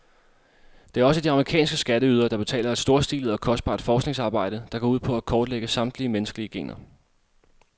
Det er også de amerikanske skatteydere, der betaler et storstilet og kostbart forskningsarbejde, der går ud på at kortlægge samtlige menneskelige gener.